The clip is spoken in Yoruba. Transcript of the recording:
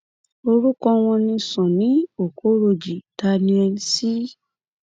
orúkọ wọn ni sunny okorojì daniel c